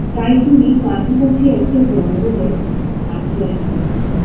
তাই তিনি কাছাকাছি একটা জঙ্গলে আশ্রয় নিলেন